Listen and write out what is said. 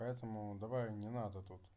поэтому давай не надо тут